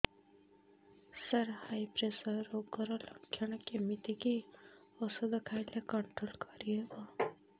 ସାର high pressure ରୋଗର ଲଖଣ କେମିତି କି ଓଷଧ ଖାଇଲେ କଂଟ୍ରୋଲ କରିହେବ